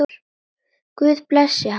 Guð blessi hann.